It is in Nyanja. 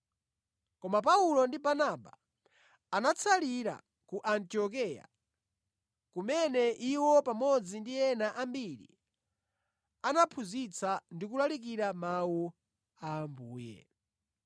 Koma Paulo ndi Barnaba anatsalira ku Antiokeya kumene iwo pamodzi ndi ena ambiri anaphunzitsa ndi kulalikira Mawu a Ambuye.